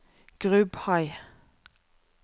Grubhei